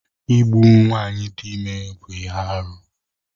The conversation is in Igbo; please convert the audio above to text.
Igbu nwaanyị dị ime bụ ihe arụ.